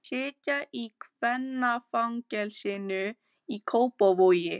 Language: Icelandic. Þær sitja í kvennafangelsinu í Kópavogi.